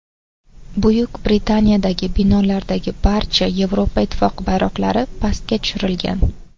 Buyuk Britaniyadagi binolardagi barcha Yevropa Ittifoqi bayroqlari pastga tushirilgan.